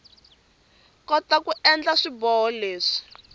kota ku endla swiboho leswi